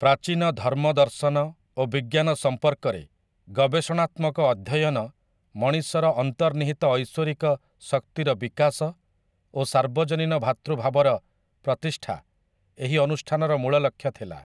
ପ୍ରାଚୀନ ଧର୍ମ ଦର୍ଶନ ଓ ବିଜ୍ଞାନ ସମ୍ପର୍କରେ ଗବେଷଣାତ୍ମକ ଅଧ୍ୟୟନ ମଣିଷର ଅନ୍ତର୍ନିହିତ ଐଶ୍ୱରିକ ଶକ୍ତିର ବିକାଶ ଓ ସାର୍ବଜନୀନ ଭ୍ରାତୃଭାବର ପ୍ରତିଷ୍ଠା ଏହି ଅନୁଷ୍ଠାନର ମୂଳଲକ୍ଷ୍ୟ ଥିଲା ।